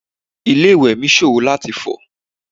Ilé ìwẹ̀ mi ṣòro láti fọ̀.